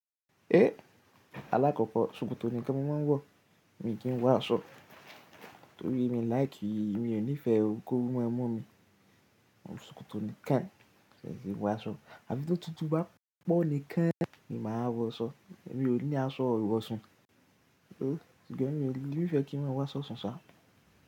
Eh! Alákòkò, ṣòkòtò nìkan ni máa ń wọ̀, mi kì í wọ̀ aṣọ, torí mi ò láì kíì, mi ò nífẹ̀ẹ́ koru ma mu mi. Òun ṣòkòtò nìkan ṣe é ti wọ aṣọ, àbi tó tutù bá pọ̀ nìkan ni máa wọ ṣọ, èmi ò ní aṣọ ìwọ̀sun. Ṣùgbọ́n mi, mi ò nífẹ̀ẹ́ kí maa wọ aṣọ ṣànṣà.